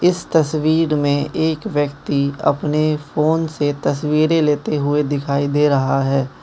इस तस्वीर मे एक व्यक्ति अपने फोन से तस्वीरें लेते हुए दिखाई दे रहा है।